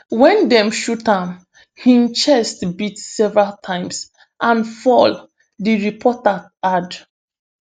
wen dem shoot am im chest beat several times and fall di reporter add